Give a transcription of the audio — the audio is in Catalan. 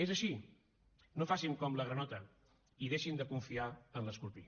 és així no facin com la granota i deixin de confiar en l’escorpí